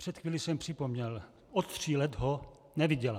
Před chvílí jsem připomněl - od tří let ho neviděla.